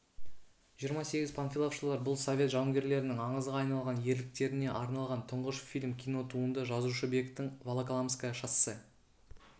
жиырма сегіз панфиловшылар бұл совет жауынгерлерінің аңызға айналған ерліктеріне арналған тұңғыш фильм кинотуынды жазушыбектің волоколамское шоссе